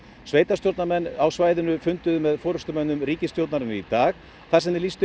sveitarstjórnarmenn á svæðinu funduðu með forystumönnum ríkisstjórnarinnar í dag þar sem þeir lýstu